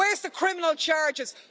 Where's the criminal charges?